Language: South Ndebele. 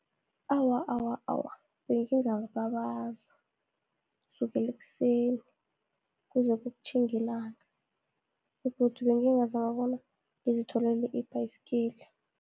Awa, awa, awa, bengingababaza sukele ekuseni, kuze kutjhinge ilanga, begodu bengingazama bona ngizitholele ibhayisikili.